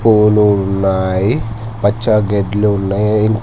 పూవులు ఉన్నాయి పచ్చ గెడ్లు ఉన్నాయి.